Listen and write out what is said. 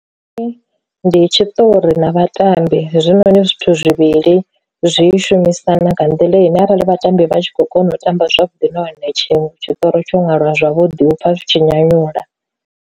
Ndi ndi tshiṱori na vhatambi hezwinoni zwithu zwivhili zwi shumisana nga nḓila ine arali vhatambi vha tshi khou kona u tamba zwavhuḓi nahone tshiṅwe tshiṱori tsho ṅwalwa zwavhuḓi u pfa zwi tshi nyanyula.